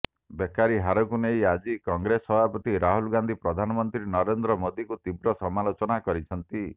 ବେକାରି ହାରକୁ ନେଇ ଆଜି କଂଗ୍ରେସ ସଭାପତି ରାହୁଲ ଗାନ୍ଧୀ ପ୍ରଧାନମନ୍ତ୍ରୀ ନରେନ୍ଦ୍ର ମୋଦୀଙ୍କୁ ତୀବ୍ର ସମାଲୋଚନା କରିଛନ୍ତି